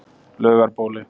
Laugarbóli